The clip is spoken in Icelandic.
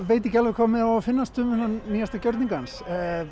veit ekki alveg hvað mér á að finnast um þennan nýjasta gjörning hans